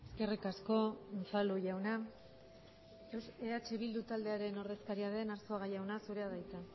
eskerrik asko unzalu jauna eh bildu taldearen ordezkaria den arzuaga jauna zurea da hitza